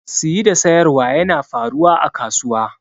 Siyi da siyarwa yana faruwa a kasuwa.